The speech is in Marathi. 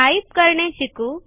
टाइप करणे शिकू